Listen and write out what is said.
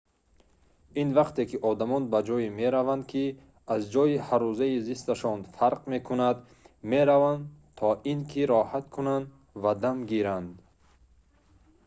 ин вақте ки одамон ба ҷое мераванд ки аз ҷойи ҳаррӯзаи зисташон фарқ мекунад мераванд то ин ки роҳат кунанд ва дам гиранд